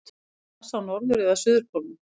er gras á norður eða suðurpólnum